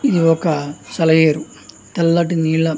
ఇది ఒక సెల ఏరు. తెల్లటి నీళ్ల యొక్క --